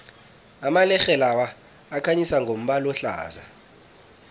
amalerhe lawa akhanyisa ngombala ohlaza